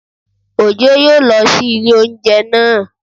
Ojo yóò lọ sí ilé óúnjẹ naa